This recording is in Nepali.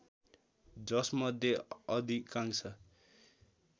जसमध्ये अधिकांश